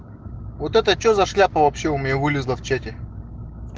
вот это что за шляпа вообще у меня вылезла в чате